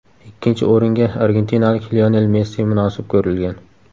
Ikkinchi o‘ringa argentinalik Lionel Messi munosib ko‘rilgan.